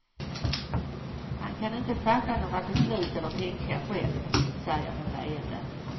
Han kan inte fatta några beslut eller tänka själv, säger hon leende.